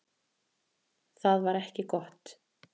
Það var ekki gott.